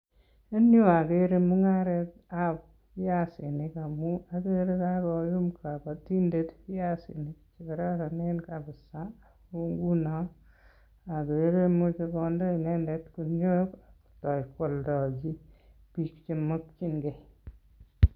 En yuu agere mungaret ab biasinik amuu agere kakoum kabatindet biasinik che kororonen ngunoo ko meche konde guniok koaldocchi biik che mokchingei